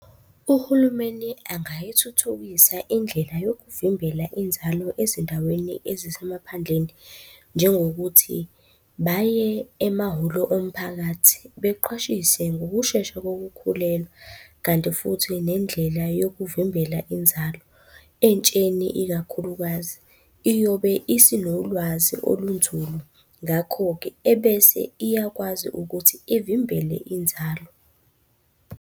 Uhulumeni angayithuthukisa indlela yokuvimbela inzalo ezindaweni ezisemaphandleni, njengokuthi baye emahholo omphakathi beqhwashiswe ngokushesha kokukhulelwa. Kanti futhi nendlela yokuvimbela inzalo entsheni ikakhulukazi, iyobe isinolwazi olunzulu ngakho-ke ebese iyakwazi ukuthi ivimbele inzalo.